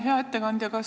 Hea ettekandja!